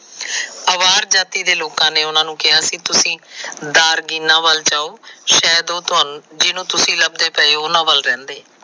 ਹਵਾਰ ਜਾਤੀ ਦੇ ਲੋਕਾਂ ਨੇ ਉਹਨਾਂ ਨੂੰ ਕਿਹਾ ਸੀ ਤੁਹੀ ਦਾਰਗੀਨਾ ਵੱਲ ਜਾਉਂਮ। ਸ਼ਾਇਦ ਜਿਹਨੂੰ ਤੁਸੀ ਲੱਭਦੇ ਪਏ ਉਹਨਾਂ ਵੱਲ ਰਹਿੰਦੇ।